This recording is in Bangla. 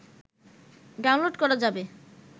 ডাউনলোড করা যাবে